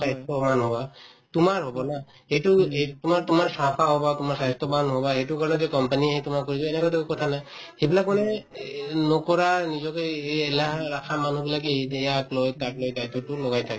স্বাস্থ্যৱান হবা তোমাৰ হব না সেইটো এই তোমাৰ‍ তোমাৰ চাফা হবা তোমাৰ স্বাস্থ্যৱান হবা এইটো কাৰণে যে company য়ে আহি তোমাক লৈ যায় এনেকুৱাতো কথা নাই সেইবিলাক মানে এই নকৰা নিজকে এই এলাহ ৰাখা মানুহবিলাকে ‌‌ ইয়াক লৈ তাক লৈ লগাই থাকে